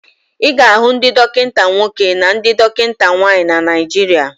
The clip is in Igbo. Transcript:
Ị ga-ahụ ndị dọkịta nwoke na ndị dọkịta nwaanyị na Naijiria.